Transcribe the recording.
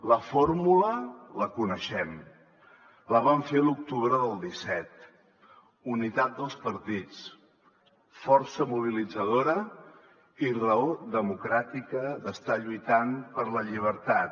la fórmula la coneixem la vam fer l’octubre del disset unitat dels partits força mobilitzadora i raó democràtica d’estar lluitant per la llibertat